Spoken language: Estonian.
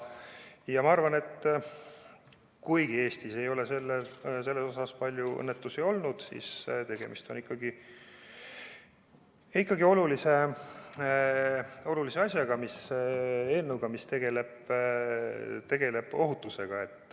Ja ma arvan, et kuigi Eestis ei ole auto gaasiseadmete pärast palju õnnetusi olnud, siis tegemist on ikkagi olulise asjaga – eelnõuga, mis tegeleb ohutusega.